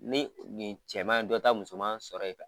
Ni nin cɛman ye dɔ ta musoman sɔrɔ yen